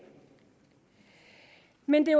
men det